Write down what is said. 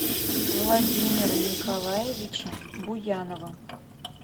владимира николаевича буянова